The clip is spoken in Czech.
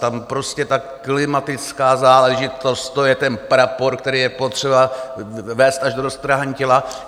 Tam prostě ta klimatická záležitost, to je ten prapor, který je potřeba nést až do roztrhání těla.